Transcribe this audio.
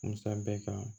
Musa bɛɛ kan